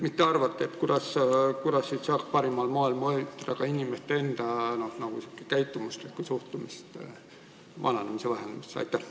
Mis te arvate, kuidas saaks parimal moel mõjutada inimeste enda käitumuslikku suhtumist vananemise vähendamisse?